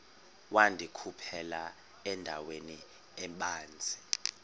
wandikhuphela endaweni ebanzi